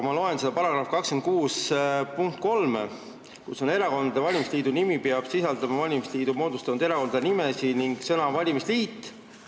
Ma loen § 26 punkti 3: "Erakondade valimisliidu nimi peab sisaldama valimisliidu moodustanud erakondade nimesid ning sõna "valimisliit".